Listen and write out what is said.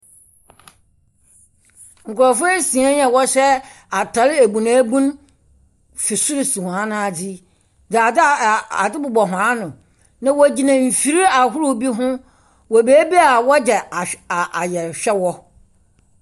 Nkurɔfoɔ nsia yi a wɔhyɛ ataar ebunabunu firi sor so hɔn na adze yi, dze adze aa ade bobɔ hɔn ano. Na wogyina mfiri ahorow ni ho wɔ beebi a wɔgye ahw aa ayɛrehwɛ wɔ.